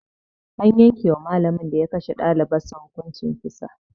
An yankewa malamin da ya kashe dalibar sa hukuncin kisa